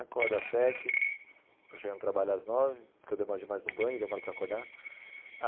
Acordo às sete para chegar no trabalho às nove, porque eu demoro demais no banho, demoro para acordar.